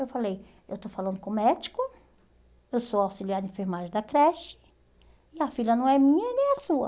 Eu falei, eu estou falando com o médico, eu sou auxiliar de enfermagem da creche, e a filha não é minha, e nem é sua.